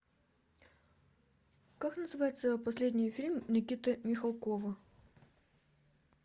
как называется последний фильм никиты михалкова